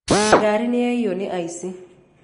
Ngarĩ nĩyaĩywo nĩ aici.